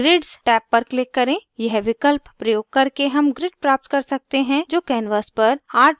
यह विकल्प प्रयोग करके हम grid प्राप्त कर सकते हैं जो canvas पर artwork यानी चित्रकला के पीछे दिखता है